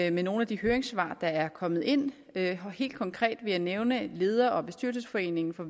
i nogle af de høringssvar der er kommet ind helt konkret vil jeg nævne leder og bestyrelsesforeningen for